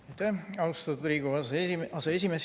Aitäh, austatud Riigikogu aseesimees!